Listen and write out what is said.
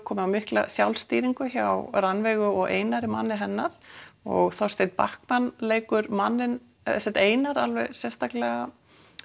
komið á mikla sjálfstýringu hjá Rannveigu og Einari manni hennar og Þorsteinn leikur manninn eða Einar alveg sérstaklega